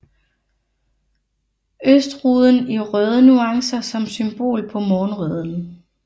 Østruden i røde nuancer som symbol på morgenrøden